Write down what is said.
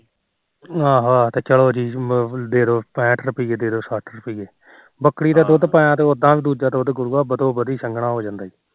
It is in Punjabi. ਆਹੋ ਆਹੋ ਤੇ ਚਲੋ ਜੀ ਦੇਦੋ ਪੈਂਹਟ ਰੁਪੀਏ ਦੇਦੋ ਸੱਠ ਰੁਪੀਏ ਬੱਕਰੀ ਦਾ ਦੁਧ ਪਾਇਆ ਉਹ ਤਾ ਉਦਾ ਗੁਰੂਆ ਵਧੋ ਵਧੀ ਸੰਘਣਾ ਹੋ ਜਾਂਦਾ